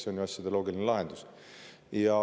See on ju asjade loogiline lahendus.